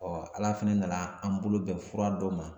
ala fana nana an mago bɛn fura dɔ ma